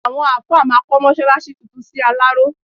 Àwọn àáfà máa kọ́ mọ́ṣáláṣí tuntun sí Aláró.